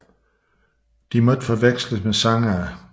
De må ikke forveksles med sangere